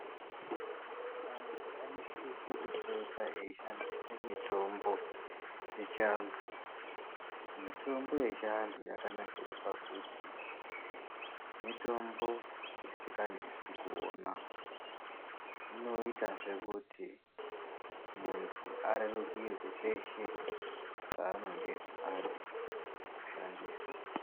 Antu anosisa kupota eishandise mitombo yechiantu. Mitombo yechiantu yakanakire pakuti mitombo isikanesi kuona. Inoitazve kuti muntu arerukirwe peshe paanonge ade kushandisa.